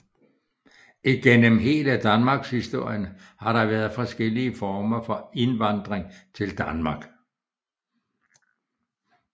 Igennem hele Danmarkshistorien har der været forskellige former for indvandring til Danmark